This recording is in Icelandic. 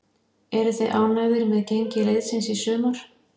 Eruð þið ánægðir með gengi liðsins í sumar?